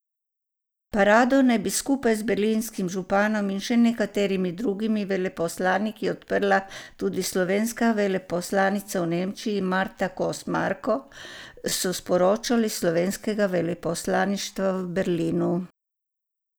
Parado naj bi skupaj z berlinskim županom in še nekaterimi drugimi veleposlaniki odprla tudi slovenska veleposlanica v Nemčiji Marta Kos Marko, so sporočili s slovenskega veleposlaništva v Berlinu.